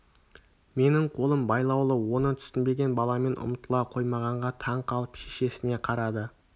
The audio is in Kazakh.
менің қолым байлаулы оны түсінбеген баламен ұмтыла қоймағанға таң қалып шешесіне қарады